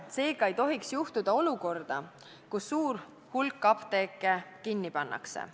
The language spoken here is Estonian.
Seega ei tohiks tekkida olukord, kus suur hulk apteeke kinni pannakse.